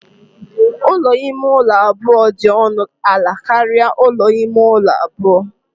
Ụlọ ime ụlọ abụọ dị ọnụ ala karịa ụlọ ime ụlọ abụọ